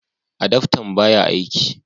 adaftan ba ya aiki